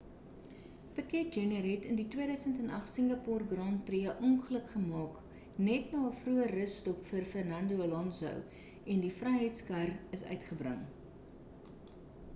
piquet jr het in die 2008 singapoer grand prix 'n ongeluk gemaak net na 'n vroeë russtop vir fernando alonso en die veiligheidskar is uitgebring